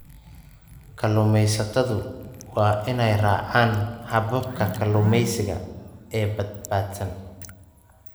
Kalluumaysatadu waa inay raacaan hababka kalluumaysiga ee badbaadsan.